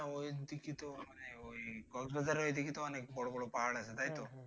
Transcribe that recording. হ্যাঁ ওইদিকে তো মানি ঐ কক্সবাজারের ওইদিকে তো অনেক বড়ো বড়ো পাহাড় আছে তাইতো?